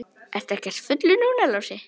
Ertu ekkert fullur núna, Lási?